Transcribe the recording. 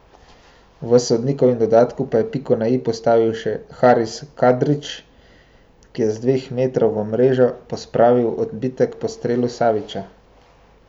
V sodnikovem dodatku pa je piko na i postavil še Haris Kadrić, ki je z dveh metrov v mrežo pospravil odbitek po strelu Savića.